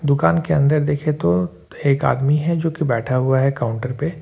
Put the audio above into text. दुकान के अंदर देखें तो एक आदमी है जो की बैठा हुआ है काउंटर पे।